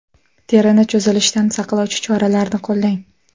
Terini cho‘zilishdan saqlovchi choralarni qo‘llang.